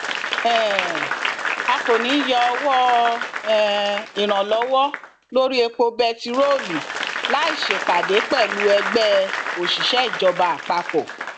um a kò ní í yọ owó um ìrànwọ lórí epo bẹntiróòlù láì ṣèpàdé pẹlú ẹgbẹ òṣìṣẹìjọba àpapọ